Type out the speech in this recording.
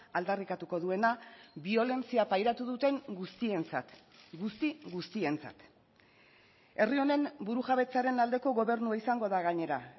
aldarrikatuko duena biolentzia pairatu duten guztientzat guzti guztientzat herri honen burujabetzaren aldeko gobernua izango da gainera